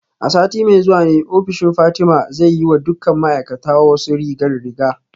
A sati mai zuwa ne ofishin Fatima zai yi wa dukkan ma'aikata wasu rigar riga